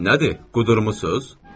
Nədir, qudurmusuz?